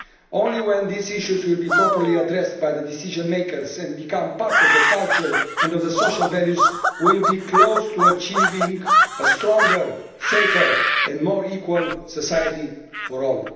Only when these issues are properly addressed by the decision makers and become part of the culture and social values will we be close to achieving a stronger, safer and more equal society for all.